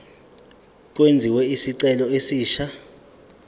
kwenziwe isicelo esisha